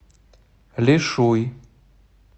лишуй